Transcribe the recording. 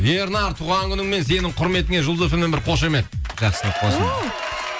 ернар туған күніңмен сенің құрметіңе жұлдыз эф эм нен бір қошамет жақсылық болсын